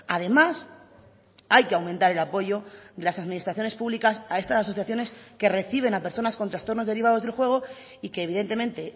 además hay que aumentar el apoyo de las administraciones públicas a estas asociaciones que reciben a personas con trastornos derivados del juego y que evidentemente